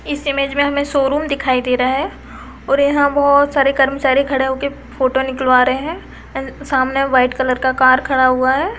इस इमेज में हमें शोरूम दिखाई दे रहा है और यहाँ बहुत सारे कर्मचारी खड़े होके फोटो निकलवा रहें हैं सामने वाइट कलर का कार खड़ा हुआ है।